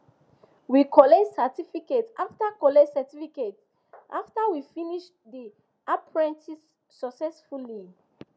we collect certificate after collect certificate after we finish the apprenticeship successfully